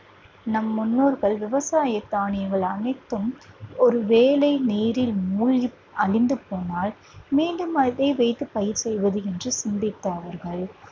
நம் முன்னோர்கள் விவசாய தானியங்கள் அனைத்தும் ஒரு வேளை நீரில் மூழ்கி அழிந்து போனால் மீண்டும் அதை வைத்து பயிர் செய்வது என்று சிந்தித்த அவர்கள்